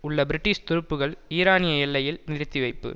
உள்ள பிரிட்டிஷ் துருப்புக்கள் ஈரானிய எல்லையில் நிறுத்திவைப்பு